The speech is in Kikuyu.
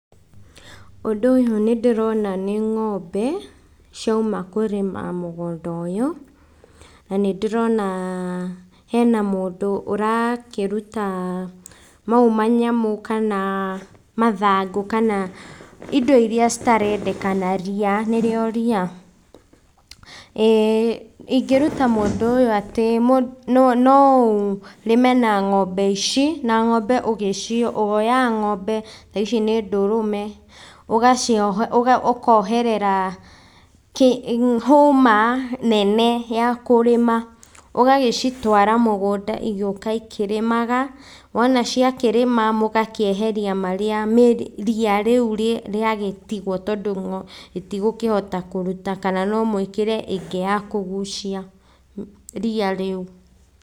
Ũndũ ũyũ nĩ ndĩrona nĩ ng'ombe, ciauma kũrĩma mũgũnda ũyũ, na nĩ ndĩrona hena mũndũ ũrakĩruta mau manyamũ, kana mathangũ, kana indo iria citarendekana, ria nĩrĩo ria. Ĩĩ ingĩruta mũndũ atĩ no ũrĩme na ng'ombe ici, na ng'ombe ũgĩci, woyaga ng'ombe ta ici nĩ ndũrũme, ũgagĩcio ũkoherera hũma nene ya kũrĩma, ũgagĩcitwara mũgũnda igoka ikĩrĩmaga, wona ciakĩrĩma mũgakĩeheria marĩa, ria rĩu rĩagĩtigwo tondũ itigũkĩhota kũruta kana no mwĩkĩre ĩngĩ ya kũgucia ria rĩu.